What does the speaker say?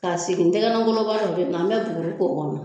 Ka sge tɛgɛnɛ bɔra o de la an be buguri k'a kɔnɔ